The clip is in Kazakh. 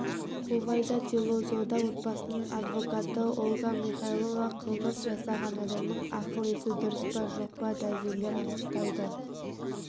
хувайда тиллозода отбасының адвокаты ольга михайлова қылмыс жасаған адамның ақыл-есі дұрыс па жоқ па дәрігерлер анықтайды